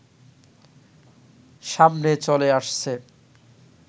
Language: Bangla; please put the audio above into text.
সামনে চলে আসছে